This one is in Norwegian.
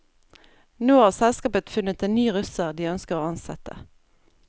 Nå har selskapet funnet en ny russer de ønsker å ansette.